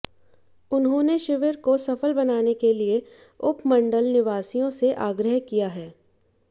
उन्होंने शिविर को सफल बनाने के लिए उपमंडल निवासियों से आग्रह किया है